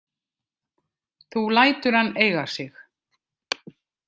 Þú lætur hann eiga sig.